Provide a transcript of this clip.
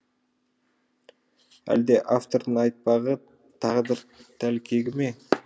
әлде автордың айтпағы тағдыр тәлкегі ме